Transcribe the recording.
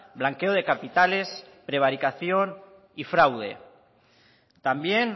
blanqueo de capitales prevaricación y fraude también